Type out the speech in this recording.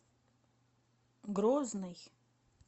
грозный